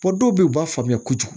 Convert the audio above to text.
dɔw bɛ yen u b'a faamuya kojugu